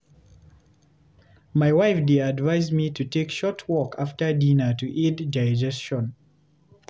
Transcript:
My wife dey advise me to take short walk after dinner to aid digestion.